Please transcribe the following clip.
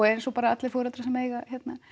eins og bara allir foreldrar sem eiga